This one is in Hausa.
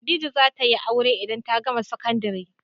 Khadijah za ta yi aure idan ta gama sakandari.